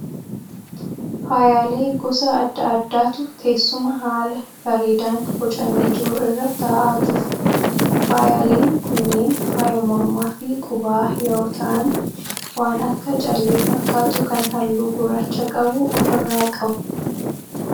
faayaalee gosa adda addaatu teessuma haala bareedaan boocamee jiru irra ta'aa jiru. Faayyaaleen kunneen faayya mormaa fi qubaa yeroo ta'aan waan akka callee fakkaatu kan halluu gurraacha qabu ofi irraa qabu.